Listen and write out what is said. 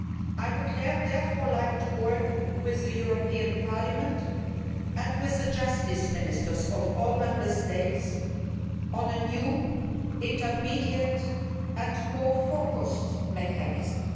I would therefore like to work with the European Parliament and with the justice ministers of all Member States on a new intermediate and more focused mechanism.